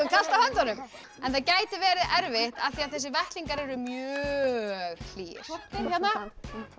kalt á höndunum en það gæti verið erfitt af því að þessir vettlingar eru mjög hlýir hérna